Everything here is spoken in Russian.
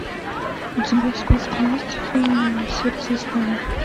у тебя в списке есть фильм сердце из стали